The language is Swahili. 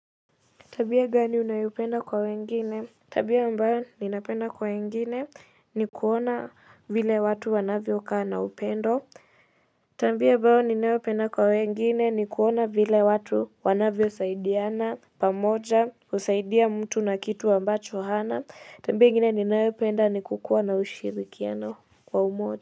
Tabia gani unayoipenda kwa wengine? Tabia ambayo ninapenda kwa wengine ni kuona vile watu wanavyokaa na upendo tabia ambayo ninayopenda kwa wengine ni kuona vile watu wanavyosaidiana pamoja kusaidia mtu na kitu ambacho hana, tabia ingine ninayopenda ni kukuwa na ushirikiano kwa umoja.